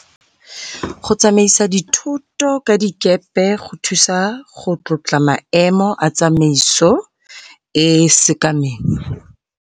Go tsamaisa dithoto ka dikepe go thusa go tlotla maemo a tsamaiso e e sekameng.